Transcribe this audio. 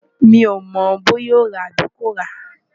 mi ò mọ̀ bóyá ó ràá tàbí kò ràá